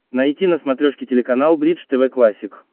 найти на смотрешке телеканал бридж тв классик